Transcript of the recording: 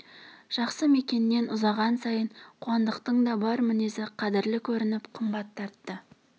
жақсы мекеннен ұзаған сайын қуандықтың да бар мінезі қадірлі көрініп қымбат тартты